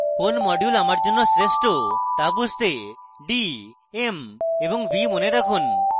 কোন module আমার জন্য শ্রেষ্ঠ বুঝতে d m এবং v মনে রাখুন